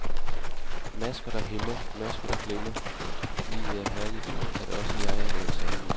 Masker der hæmmer, masker der glemmer, at livet er herligt, at også jeg er noget særligt.